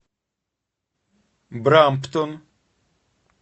брамптон